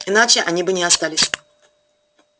иначе они бы не остались